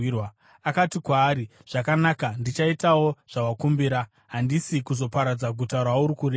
Akati kwaari, “Zvakanaka, ndichaitawo zvawakumbira; handisi kuzoparadza guta rauri kureva.